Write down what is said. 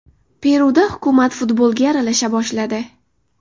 Peruda hukumat futbolga aralasha boshladi.